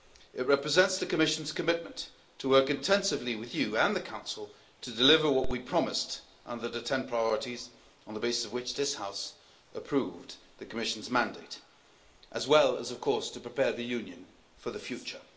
It represents the Commission's commitment to work intensively with you, and the Council, to deliver what we promised under the 10 priorities on the basis of which this House approved the Commission's mandate, as well as, of course, to prepare the Union for the future.